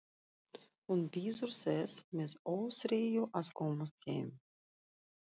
Hún bíður þess með óþreyju að komast heim.